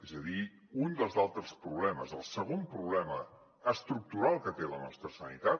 és a dir un dels altres problemes el segon problema estructural que té la nostra sanitat